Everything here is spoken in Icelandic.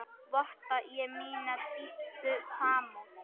Votta ég mína dýpstu samúð.